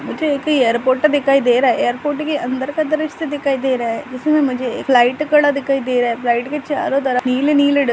मुझे एक एयरपोर्ट दिखाई दे रहा है एयरपोर्ट के अंदर का दृश्य दिखाई दे रहा है जिसमें मुझे एक लाइट खड़ा दिखाई दे रहा है फ्लाइट के चारों तरफ नीले-नीले डब--